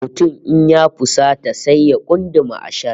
Mutum in ya fusata sai ya kunduma ashar